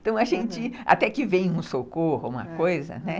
Então, a gente, até que vem um socorro, uma coisa, né?